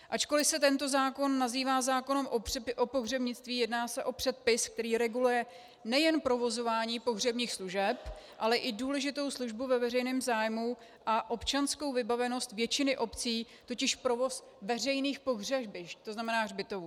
Ačkoliv se tento zákon nazývá zákonem o pohřebnictví, jedná se o předpis, který reguluje nejen provozování pohřebních služeb, ale i důležitou službu ve veřejném zájmu a občanskou vybavenost většiny obcí, totiž provoz veřejných pohřebišť, to znamená hřbitovů.